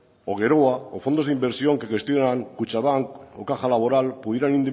o geroa o fondos de inversión que gestionan kutxabank o caja laboral pudieran